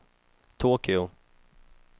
Tokyo